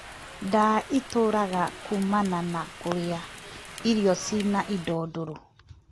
Ndaa ĩturaga kumana na kũrĩa irio ciĩna indo ndũrũ